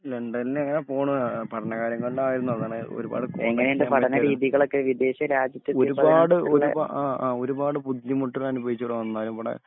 ലണ്ടനില് ഇങ്ങനെ പോണ് ആഹ് പഠനകാര്യങ്ങളിലാരുന്നു അതാണ് ഒരുപാട് ഒരുപാട് ഒരുപാ ആ ആ ഒരുപാട് ബുദ്ധിമുട്ടുകൾ അനുഭവിച്ചിവിടെ വന്നാലും ഇവടെ